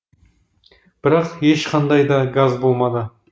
бірақ ешқандай да газ болмады